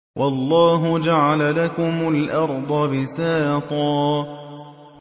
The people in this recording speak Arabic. وَاللَّهُ جَعَلَ لَكُمُ الْأَرْضَ بِسَاطًا